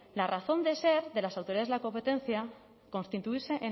la razón de ser de las autoridades de la competencia constituirse